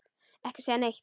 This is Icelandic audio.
Ekki segja neitt!